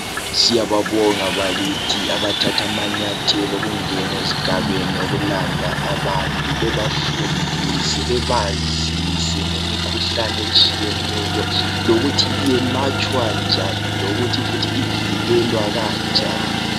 Siyababonga bakithi abathatha amanyathelo okungena ezigabeni okulanda abantu bebafundise bebazise ngemikhuhlane etshiyeneyo lokuthi iyelatshwa njani lokuthi ivikelwa njani.